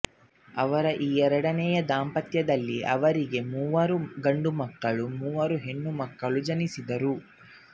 ಅವರ ಈ ಎರಡನೆಯ ದಾಂಪತ್ಯದಲ್ಲಿ ಅವರಿಗೆ ಮೂವರು ಗಂಡುಮಕ್ಕಳು ಮೂವರು ಹೆಣ್ಣುಮಕ್ಕಳು ಜನಿಸಿದರು